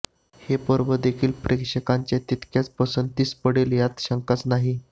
हे पर्व देखील प्रेक्षकांच्या तितक्याच पसंतीस पडेल यात शंकाच नाही